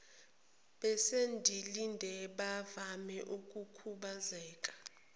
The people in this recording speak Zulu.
besindile bavama ukukhubazeka